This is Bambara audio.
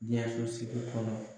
jɛnsosigi kɔnɔ